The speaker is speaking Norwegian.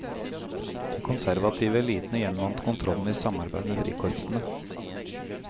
De konservative elitene gjenvant kontrollen i samarbeid med frikorpsene.